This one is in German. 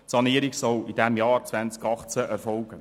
Die Sanierung soll im Jahr 2018 erfolgen.